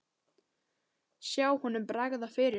Sjá honum bregða fyrir!